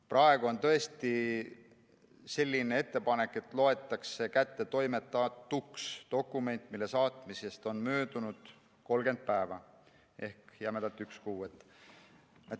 Praegu on tõesti selline ettepanek, et loetakse kättetoimetatuks dokument, mille saatmisest on möödunud 30 päeva ehk jämedalt võttes üks kuu.